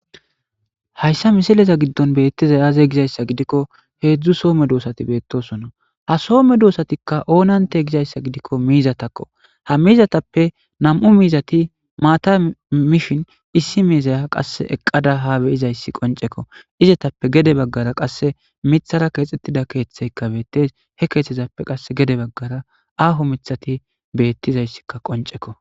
Haysa misileza gido betiza aze gizaysa gidikko hezhzhu soo medosata betosona ha Soo medosatika onante gizaysargidika miizatika ha miizatappe nam'u miizati mata mishi issi miizaya ha beyizaysi qonceko izetappe gede bagara mithara kexetida kethati betizaysika qoncekko izzetaska qase gede bagara aho mithati betizaysika qonceko